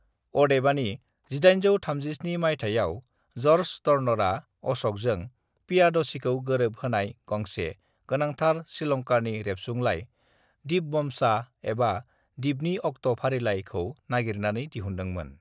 "अदेबानि, 1837 मायथाइयाव, जर्ज टर्नरआ अशकजों पियादसीखौ गोरोब होनाय गांसे गोनांथार श्रीलंकानि रेबसुंलाइ (दीपवमसा, एबा 'डिपनि अक्ट' फारिलाइ') खौ नागिरनानै दिहुनदोंमोन।"